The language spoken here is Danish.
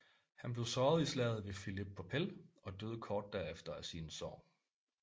Han blev såret i slaget ved Philippopel og døde kort derefter af sine sår